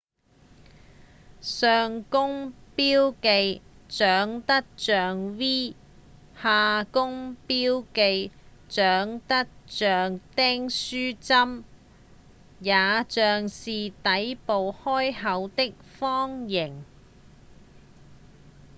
「上弓」標記長得像 v「下弓」標記長得像訂書針也像是底部開口的方形